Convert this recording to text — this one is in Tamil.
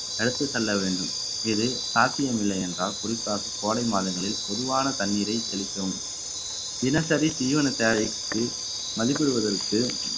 எடுத்துச் செல்ல வேண்டும் இது சாத்தியமில்லை என்றால் குறிப்பாக கோடை மாதங்களில் பொதுவான தண்ணீரை தெளிக்கவும் தினசரி தீவன தேவைக்கு மதிப்பிடுவதற்கு